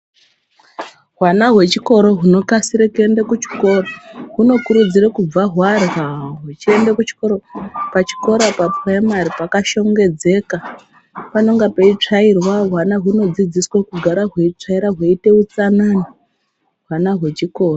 Hwana hwechikoro hunokasire kuende kuchikoro, hunokurudzirwe kubva hwarya huchiende kuchikoro. Pachikora papuraimari pakashongedzeka panonga peitsvairwa. Hwana hunodzidziswa kutsvaira hweiite utsanana ,hwana hwechikoro.